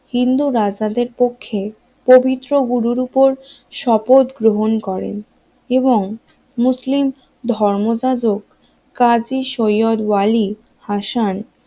হিন্দু রাজাদের পক্ষে পবিত্র গুরুর উপর শপথ গ্রহণ করেন এবং মুসলিম ধর্ম জাজক কাজী সৈয়দ ওয়ালী হাসান